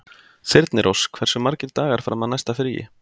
Þyrnirós, hversu margir dagar fram að næsta fríi?